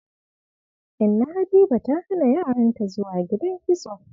Inna Habiba ta hana yaranta zuwa gidan kitso.